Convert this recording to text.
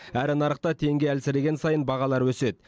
әрі нарықта теңге әлсіреген сайын бағалар өседі